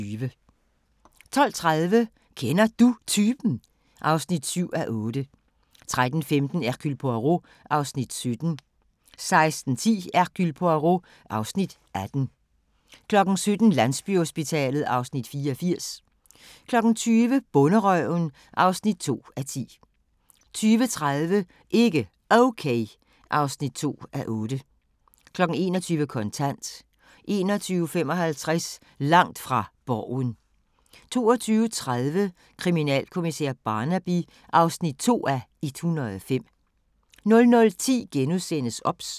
12:30: Kender Du Typen? (7:8) 13:15: Hercule Poirot (Afs. 17) 16:10: Hercule Poirot (Afs. 18) 17:00: Landsbyhospitalet (Afs. 84) 20:00: Bonderøven (2:10) 20:30: Ikke Okay (2:8) 21:00: Kontant 21:55: Langt fra Borgen 22:30: Kriminalkommissær Barnaby (2:105) 00:10: OBS *